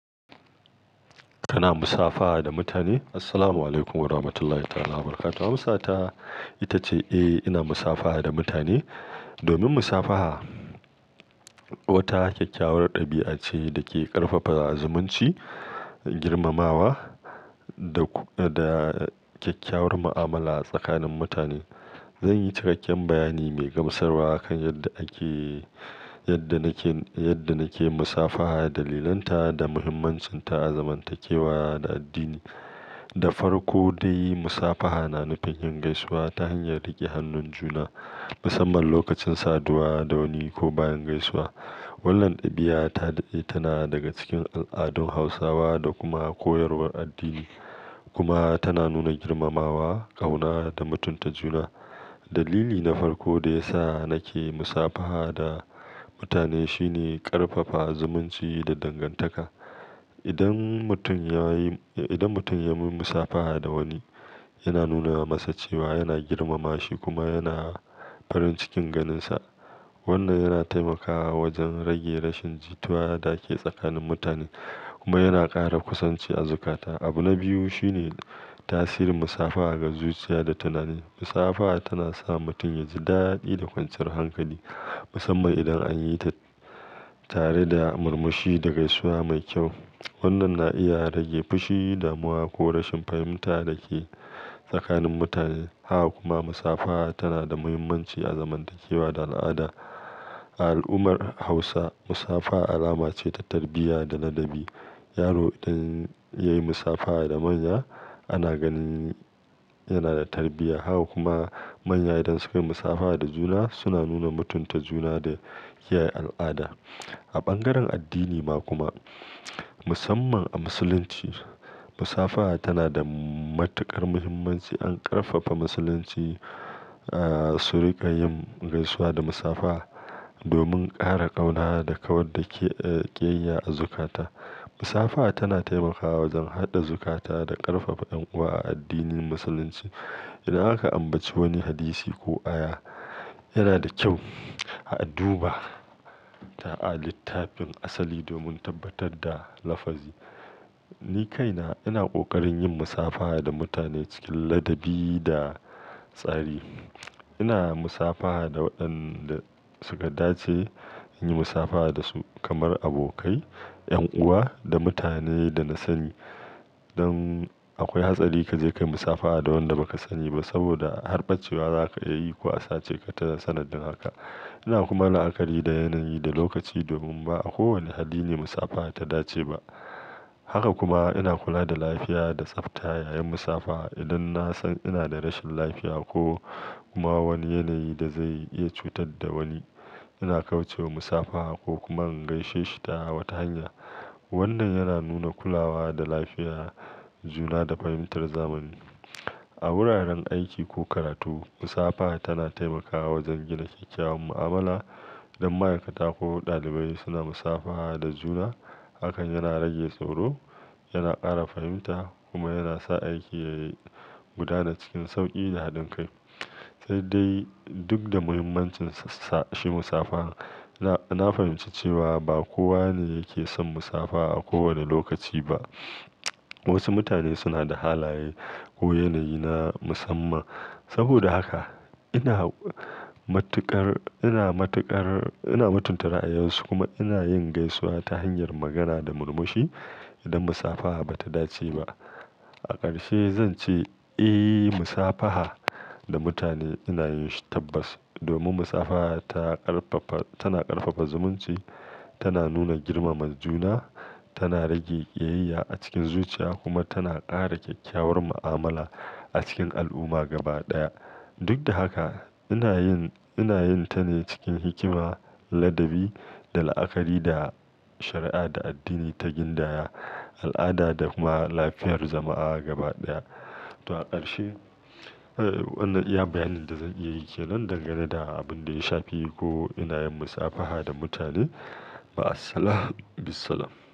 Kana musafaha da mutane? Assalamu alaikum Warahamatullahi ta'ala Wabarakatuhu. Amsa ta ita ce, eh, ina musafaha da mutane. Domin musafaha wata kyakkyawar ɗabi'a ce da ke ƙarfafa zumunci, girmamawa da, da kyakkyawar mu'amala a tsakanin mutane. Zan yi cikakken bayani mai gamsarwa a kan yadda ake, yadda nake, yadda nake musafaha, dalilanta da muhimmancinta a zamantakewa da addini. Da farko dai, musafaha na nufin yin gaisuwa ta hanyar riƙe hannun juna, musamman lokacin saduwa da wani ko bayan gaisuwa. Wannan ɗabi'a ta dade tana daga cikin al'adun Hausawa da kuma koyarwar addini, kuma tana nuna girmamawa, ƙauna da mutunta juna. Dalili na farko da ya sa nake musafaha da mutane shine ƙarfafa zumunci da dangantaka. Idan mutum ya yi, idan mutum ya yi musafaha da wani, yana nuna masa cewa yana girmama shi kuma yana farin cikin ganinsa. Wannan yana taimakawa wajen rage rashin jituwa da ke tsakanin mutane kuma yana ƙara kusanci a zukata. Abu na biyu shine tasirin musafaha ga zuciya da tunani. Musafaha tana sa mutum ya ji daɗi da kwanciyar hankali, musamman idan an yi ta tare da murmushi da gaisuwa mai kyau. Wannan na iya rage fushi, damuwa ko rashin fahimta da ke tsakanin mutane. Haka kuma musafaha tana da muhimmanci a zamantakewa da al'ada. A al'ummar Hausa, musafaha alama ce ta tarbiyya da ladabi. Yaro idan ya yi musafaha da manya, ana ganin yana da tarbiyya. Haka kuma manya idan suka yi musafaha da juna, suna nuna mutunta juna da kiyaye al'ada. A bangaren addini ma kuma, musamman a Musulunci, musafaha tana da matuƙar muhimmanci. An ƙarfafa Musulunci, ah, su riƙa yin gaisuwa da musafaha domin ƙara ƙauna da kawar da, eh, ƙiyayya a zukata. Musafaha tana taimakawa wajen haɗa zukata da ƙarfafa ƴan'uwa a addinin Musulunci. Idan aka ambaci wani hadisi ko aya, yana da kyau a duba ta a littafin asali domin tabbatar da lafazi. Ni kaina ina ƙoƙarin yin musafaha da mutane cikin ladabi da tsari. Ina musafaha da waɗanda suka dace nayi musafaha dasu kamar abokai, ƴan'uwa da mutanen da na sani. Don akwai hatsari ka je ka yi musafaha da wanda ba ka sani ba saboda harɓacewa za ka iya yi ko a sace ka ta sanadin haka. Ina kuma la'akari da yanayi da lokaci domin ba a kowanne hali ne musafaha ta dace ba. Haka kuma ina kula da lafiya da tsafta yayin musafaha. Idan na san ina da rashin lafiya ko kuma wani yanayi da zai iya cutar da wani, ina kauce wa musafaha ko kuma in gaishe shi ta wata hanya. Wannan yana nuna kulawa da lafiya, juna da fahimtar zamani. A wuraren aiki ko karatu, musafaha tana taimakawa wajen gina kyakkyawar mu'amala. Idan ma'aikata ko ɗalibai suna musafaha da juna, hakan yana rage tsoro, yana ƙara fahimta kuma yana sa aiki ya yi gudana cikin sauƙi da haɗin kai. Sai dai duk da muhimmancin sa shi musafaha, na, na fahimci cewa ba kowa ne yake son musafaha a kowane lokaci ba. Wasu mutane suna da halaye ko yanayi na musamman. Saboda haka ina matuƙar, ina matuƙar, ina mutunta ra'ayinsu kuma ina yin gaisuwa ta hanyar magana da murmushi idan musafaha ba ta dace ba. A ƙarshe zan ce, eh, musafaha da mutane ina yin shi tabbas domin musafaha ta ƙarfafa, tana ƙarfafa zumunci, tana nuna girmama juna, tana rage ƙiyayya a cikin zuciya kuma tana ƙara kyakkyawar mu'amala a cikin al'umma gaba ɗaya. Duk da haka ina yin, ina yin ta ne cikin hikima, ladabi da la'akari da shari'a da addini ta gindaya, al'ada da kuma lafiyar jama'a gaba ɗaya. To a ƙarshe, eh, wannan iya bayanin da zan iya yi ke nan dangane da abin da ya shafi ko ina yin musafaha da mutane. Ma'assalam. Bissalam.